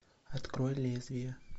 открой лезвие